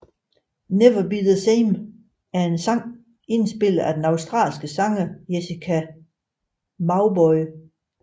Never Be the Same er en sang indspillet af den australske sanger Jessica Mauboy